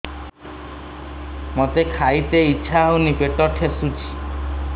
ମୋତେ ଖାଇତେ ଇଚ୍ଛା ହଉନି ପେଟ ଠେସୁଛି